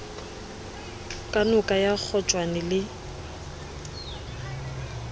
ka noka ya kgotjwane le